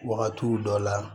Wagatiw dɔ la